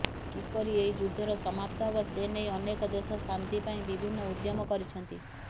କିପରି ଏହି ଯୁଦ୍ଧର ସମାପ୍ତ ହେବ ସେନେଇ ଅନେକ ଦେଶ ଶାନ୍ତି ପାଇଁ ବିଭିନ୍ନ ଉଦ୍ୟମ କରିଛନ୍ତି